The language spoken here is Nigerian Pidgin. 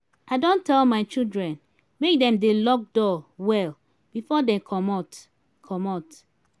i don tell my children make dem dey lock door well before dey comot comot